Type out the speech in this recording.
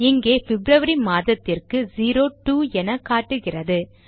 இங்கே பிப்ரவரி மாதத்திற்கு 02 என காட்டுகிறது